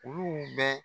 Olu bɛ